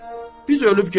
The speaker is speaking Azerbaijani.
Biz ölüb gedərik.